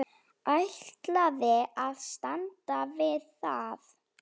Ætlaði að standa við það.